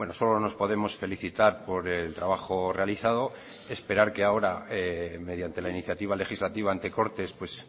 solo nos podemos felicitar por el trabajo realizado esperar que ahora mediante la iniciativa legislativa ante cortes pues